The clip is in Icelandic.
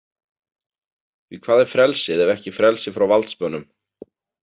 Því hvað er frelsið ef ekki frelsi frá valdsmönnum?